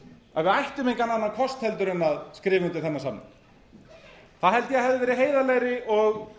að við ættum engan annan kost en að skrifa undir samning það held ég að hefði verið heiðarlegri og